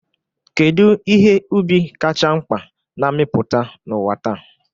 Kedu ihe ubi kacha mkpa na-amịpụta n'ụwa taa?